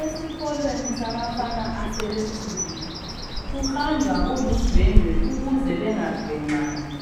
Esikolweni sabafana asebekhulile kuhanjwa kuludwendwe ukuze bengagwenxani